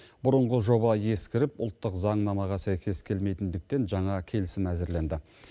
бұрынғы жоба ескіріп ұлттық заңнамаға сәйкес келмейтіндіктен жаңа келісім әзірленді